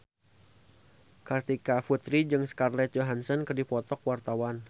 Kartika Putri jeung Scarlett Johansson keur dipoto ku wartawan